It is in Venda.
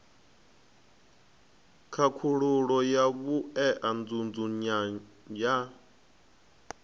khakhululo ya vhue nzudzanyo ya